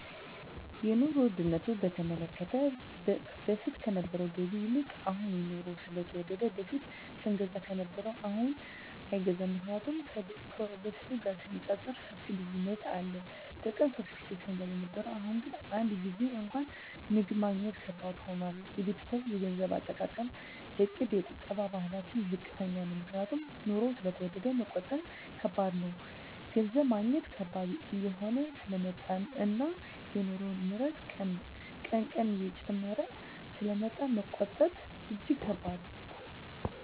የኑሮ ዉድነቱ በተመለከተ በፊት ከነበረዉ ገቢ ይልቅ አሁን የኑሮዉ ስለተወደደ በፊት ስንገዛ ከነበረ አሁንግን አይገዛም ምክንያቱም ከበፊቱ ጋር ሲነፃፀር ሰፊ ልዩነት አለ በቀን ሶስት ጊዜ ስንበላ የነበረዉ አሁን ግን አንድ ጊዜም እንኳን ምግብ ማግኘት ከባድ ሆኗል የቤተሰቤ የገንዘብ አጠቃቀምእቅድ የቁጠባ ባህላችን ዝቅተኛ ነዉ ምክንያቱም ኑሮዉ ስለተወደደ መቆጠብ ከባድ ነገር ነዉ ገንዘብ ማግኘት ከባድ እየሆነ ስለመጣእና የኑሮዉ ንረት ቀን ቀን እየጨመረ ስለሚመጣ መቆጠብ እጂግ ከባድ ነዉ